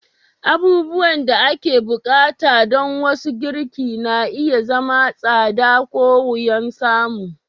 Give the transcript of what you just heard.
Abubuwan da ake buƙata don wasu girki na iya zama tsada ko wuyan samu.